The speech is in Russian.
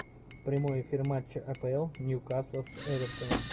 прямой эфир матча апл ньюкасла с эвертоном